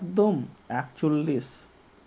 একদম একচল্লিশ